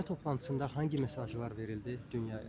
Zirvə toplantısında hansı mesajlar verildi dünyaya?